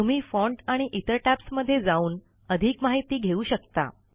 तुम्ही फाँट आणि इतर टॅब्ज मध्ये जाऊन अधिक माहिती घेऊ शकता